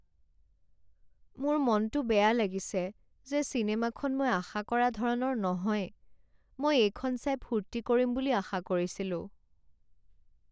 মোৰ মনটো বেয়া লাগিছে যে চিনেমাখন মই আশা কৰা ধৰণৰ নহয়। মই এইখন চাই ফূৰ্তি কৰিম বুলি আশা কৰিছিলোঁ।